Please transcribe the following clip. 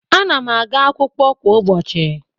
Ana'm aga akwụkwọ kwa ụbọchị